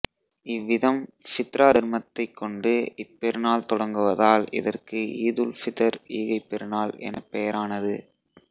இவ்விதம் ஃபித்ரா தர்மத்தைக் கொண்டு இப்பெருநாள் தொடங்குவதால் இதற்கு ஈதுல் ஃபித்ர் ஈகைப்பெருநாள் என பெயரானது